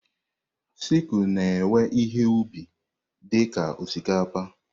Sicụ na-ewe ihe ubi dị ka osikapa.